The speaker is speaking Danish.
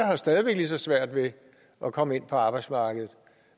jo stadig væk lige så svært ved at komme ind på arbejdsmarkedet